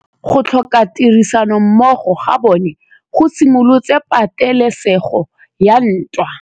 Go tlhoka tirsanommogo ga bone go simolotse patêlêsêgô ya ntwa.